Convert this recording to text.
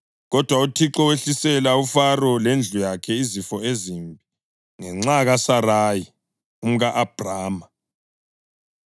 Kodwa uThixo wehlisela uFaro lendlu yakhe izifo ezimbi ngenxa kaSarayi umka-Abhrama.